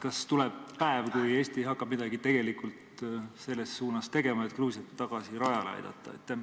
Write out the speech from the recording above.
Kas tuleb päev, mil Eesti hakkab midagi selles suunas tegema, et Gruusiat tagasi rajale aidata?